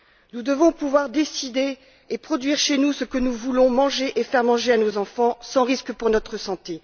Nous devons pouvoir choisir et produire chez nous ce que nous voulons manger et faire manger à nos enfants sans risque pour notre santé.